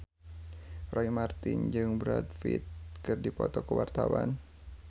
Roy Marten jeung Brad Pitt keur dipoto ku wartawan